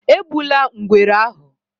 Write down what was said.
Egbula Ngwere ahu!